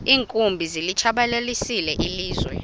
iinkumbi zilitshabalalisile ilizwe